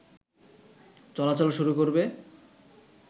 চলাচল শুরু করবে